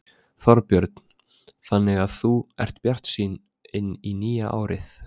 Þorbjörn: Þannig að þú ert bjartsýn inn í nýja árið?